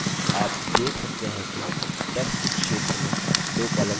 आप देख सकते हैं कि text क्षेत्र में 2 columns प्रदर्शित होते हैं